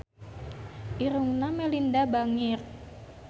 Irungna Melinda bangir